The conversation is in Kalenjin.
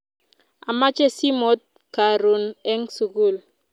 amache simot karun en sukul